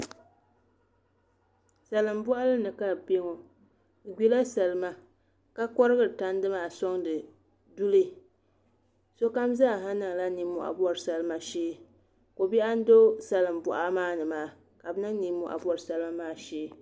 salim' bɔɣili ni ka bɛ be ŋɔ bɛ gburila salima ka kɔrigiri tandi maa sɔŋdi duli sokam zaasa niŋla nimmɔhi bɔri salima shee kɔ' biɛɣu n-do salim' bɔɣa maa ni ka bɛ niŋ nimmɔhi m-bɔri salima maa shee